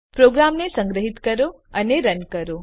પ્રોગ્રામને સંગ્રહીત કરો અને રન કરો